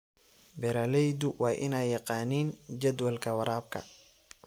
Beeraleydu waa inay yaqaaniin jadwalka waraabka.